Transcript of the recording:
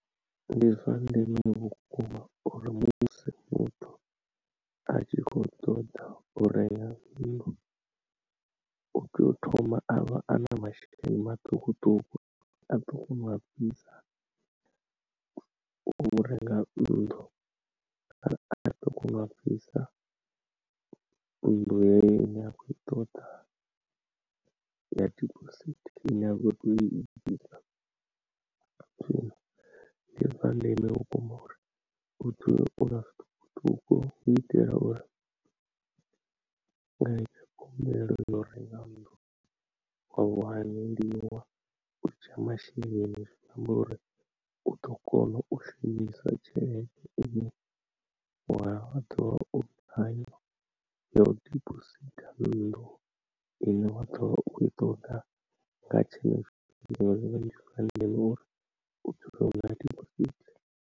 Ndi zwa ndeme vhukuma uri musi muthu a tshi kho ṱoḓa u renga nnḓu u tea u thoma a vha a na masheleni maṱukuṱuku a ḓo kona u a bvisa, u renga nnḓu kana a ḓo kona u a bvisa nnḓu yeyo ine ya kho i ṱoḓa ya dibosithi ine ya kho to i bvisa ndi zwa ndeme vhukuma uri u dzulela u na zwiṱukuṱuku u itela uri nga khumbelo ya u renga nnḓu wa wanelwa u tsha masheleni zwi amba uri u ḓo kona u shumisa tshelede ine wa ḓuvha u thaidzo ya u dibositha nnḓu ine wa dovha u ita unga nga tshenetsho tshifhimga ndi zwa ndeme uvha ukho divha.